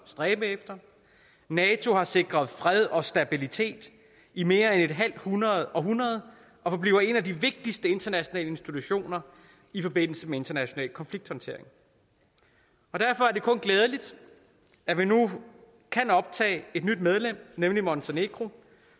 stræbe efter nato har sikret fred og stabilitet i mere end et halvt århundrede og forbliver en af de vigtigste internationale institutioner i forbindelse med international konflikthåndtering derfor er det kun glædeligt at vi nu kan optage et nyt medlem nemlig montenegro